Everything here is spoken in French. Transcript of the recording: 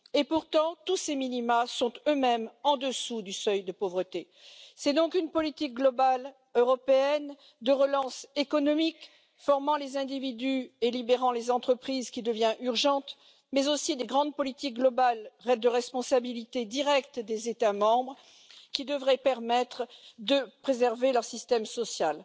Pourtant, tous ces minima sont eux mêmes en dessous du seuil de pauvreté. C'est donc une politique globale européenne de relance économique formant les individus et libérant les entreprises qui devient urgente, mais aussi de grandes politiques globales de responsabilité directe des États membres, qui devraient permettre de préserver leur système social.